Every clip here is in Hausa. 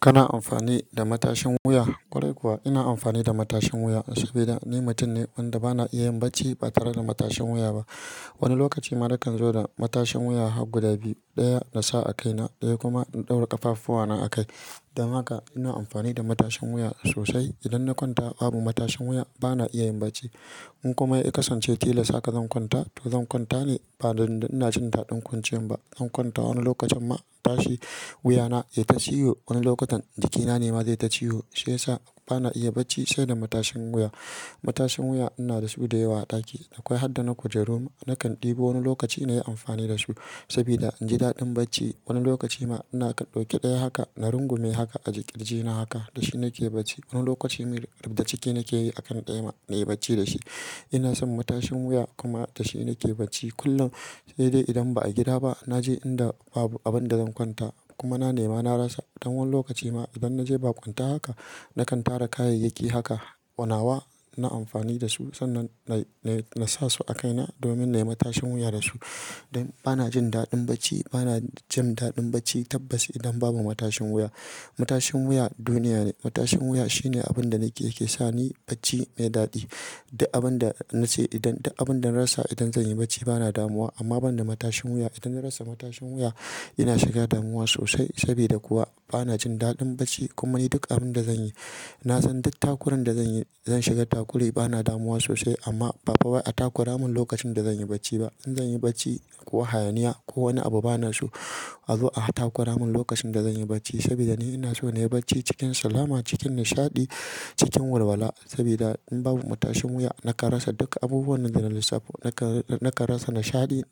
Kana amfani da matashin wuya? Kwarai kuwa ina amfani da matashin wuya sabida ni mutum ne wanda ba na iya yin bacci ba tare da matashin wuya ba. Wani lokaci ma na kan zo da matashin wuya har guda biyu, ɗaya na sa a kaina ɗaya kuma in ɗaura ƙafafuwana a kai. Dan haka ina amfani da matashin wuya sosai. Idan na kwanta babu matashin wuya ba na iya yin bacci. In kuma ya kasance tilas haka zan kwanta to zan kwanta ne ba don ina jin daɗin kwanciyan ba. Zan kwanta wani lokacin ma tashi wuyana yaita ta ciwo, wani lokutan jikinane ma zai ta ciwo shiya sa ba na iya bacci sai da matashin wuya. Matashin wuya ina da su da yawa a ɗaki. Akwai har da na kujerun. Nakan ɗebo wani lokaci na yi amfani da su sabida inji daɗin bacci wani lokaci ma ina ɗauke ɗaya haka na rungume haka a kirjina haka da shi nake bacci. Wani lokacin mai riɓda ciki nake yi a kan ɗaya ma na yi bacci da shi. Ina son matashin wuya kuma da shi nake bacci kullum, sai dai idan ba a gida ba. Na je inda babu abin da zan kwanta kuma na nema na rasa, dan wani lokaci ma idan na je babu kwanta haka, na kan tara kayayyaki haka, konawa, ina amfani da su sannan nai nai, na, na sa su a kaina domin na yi matashin wuya da su. Bana jin daɗin bacci, ba na jin daɗin bacci tabbas idan babu matashin wuya. Matashin wuya duniya ne. Matashin wuya shine abin da nake yake sa ni bacci mai daɗi. Duk abin da na ce idan, da abin da na rasa idan zan yi bacci bana damuwa amma ban da matashin wuya idan na rasa matashin wuya ina shiga damuwa sosai. Sabida kuwa bana jin daɗin bacci kuma ni duk abin da zanyi, na san duk takuran da zanyi zan shiga takurai bana damuwa sosai amma ba'fa takura mun lokacin da zanyi bacci ba. In zanyi bacci, ko hayaniya ko wani abu bana so a zo a takura mun lokacin da zanyi bacci sabida ni ina so na yi bacci cikin salama, cikin nishaɗi, cikin walwala. Sabida in babu matashin wuya nakan rasa duk abubuwan da na lissafo. Nakan, nakan rasa nishaɗi,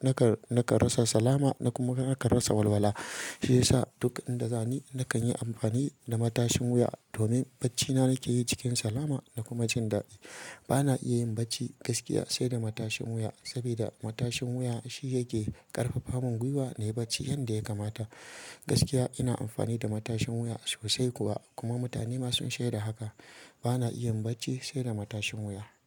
nakan, nakan rasa salama na kuma nakan rasa walwala. Shiyasa duk inda za ni nakan yi amfani da matashin wuya domin bacci na nake yi cikin salama da kuma jindadi bana iya yin bacci gaskiya sai da matashin wuya sabida matashin wuya shi yake ƙarfafa mun gwiwa na yi bacci yanda ya kamata. Gaskiya ina amfani da matashin wuya sosai kuwa kuma mutane ma sun sheda haka. Bana iya yin bacci sai da matashin wuya.